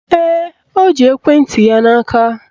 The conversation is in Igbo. Ee, o ji ekwenti ya n'aka